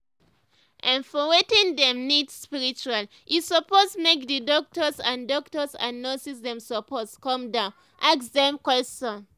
ermm for wetin dem need spiritually e suppose make d doctors and doctors and nurses dem suppose calm down ask dem question.